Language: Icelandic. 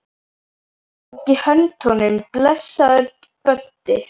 Ég tók í hönd honum: Blessaður, Böddi